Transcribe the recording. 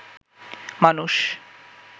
মানুষ